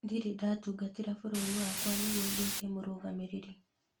Ndirĩ ndatungatĩra bũrũri wakwa nĩguo nduĩke mũrũgamĩrĩri